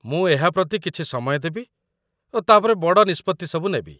ମୁଁ ଏହା ପ୍ରତି କିଛି ସମୟ ଦେବି ଓ ତା'ପରେ ବଡ଼ ନିଷ୍ପତ୍ତି ସବୁ ନେବି।